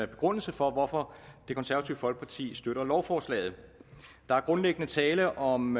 begrundelse for hvorfor det konservative folkeparti støtter lovforslaget der er grundlæggende tale om